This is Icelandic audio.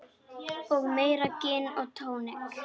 Og meira gin og tónik.